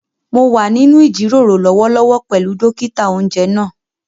Mo wà nínú ìjíròrò lọ́wọ́lọ́wọ́ pẹ̀lú dókítà-oúnjẹ náà